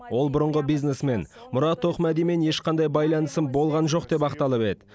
ол бұрынғы бизнесмен мұрат тоқмәдимен ешқандай байланысым болған жоқ деп ақталып еді